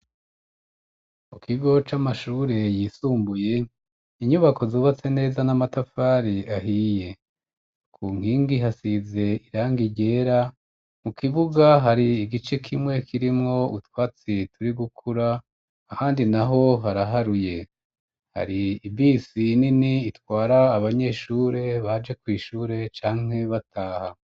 Mu kigo c'amashure yisumbuye, inyubako zubatse neza n'amatafari ahiye. Ku nkingi hasize irangi ryera ; mu kibuga hari igice kimwe kirimwo utwatsi turi gukura, ahandi naho haraharuye. Hari ibisi nini itwara abanyeshure baje kw' ishure canke bataha.